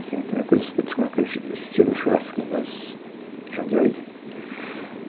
Assim, então é uma coisa super descon, estilo churrasquinhos Jundiaí.